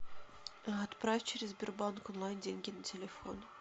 отправь через сбербанк онлайн деньги на телефон